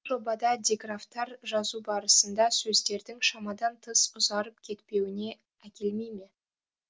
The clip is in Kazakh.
жобада диграфтар жазу барысында сөздердің шамадан тыс ұзарып кетпеуіне әкелмей ме